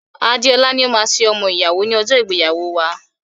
Adeola ni ó máa ṣe ọmọ ìyàwó ní ọjọ́ ìgbéyàwóo wa.